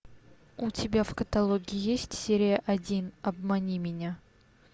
у тебя в каталоге есть серия один обмани меня